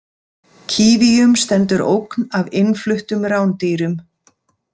Kívíum stendur ógn af innfluttum rándýrum.